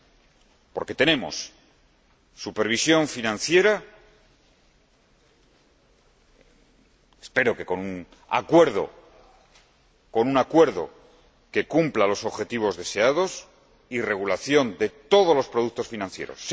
Porque, primero, tenemos supervisión financiera, espero que con un acuerdo que cumpla los objetivos deseados, y regulación de todos los productos financieros